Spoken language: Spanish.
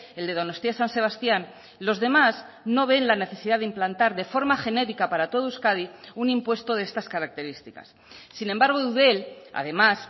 el de donostia san sebastián los demás no ven la necesidad de implantar de forma genérica para todo euskadi un impuesto de estas características sin embargo eudel además